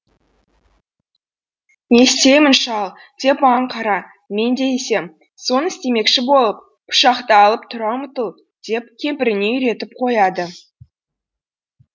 не істеймін шал деп маған қара мен не десем соны істемекші болып пышақты алып тұра ұмтыл деп кемпіріне үйретіп қояды